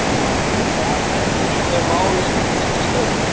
Hvað verður um þau mál undir þinni stjórn?